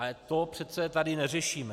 Ale to přece tady neřešíme.